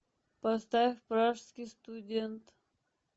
поставь пражский студент